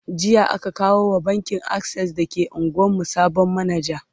jiya aka kawo wa bankin akses da ke unguwan mu sabon manaja